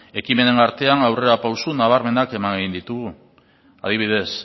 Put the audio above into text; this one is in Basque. ekimenen artean aurrerapauso nabarmenak eman egin ditugu adibidez